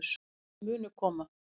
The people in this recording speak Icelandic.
Mörkin munu koma